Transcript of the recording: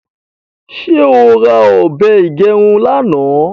ṣe ọ rà òbé igerun lànà?